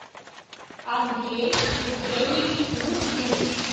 андрей евгеньевич лукин